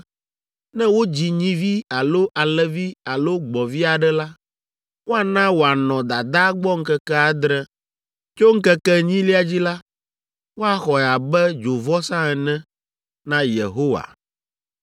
“Ne wodzi nyivi alo alẽvi alo gbɔ̃vi aɖe la, woana wòanɔ dadaa gbɔ ŋkeke adre. Tso ŋkeke enyilia dzi la, woaxɔe abe dzovɔsa ene na Yehowa.